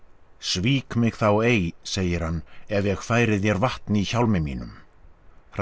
svík mig þá ei segir hann ef ég færi þér vatn í hjálmi mínum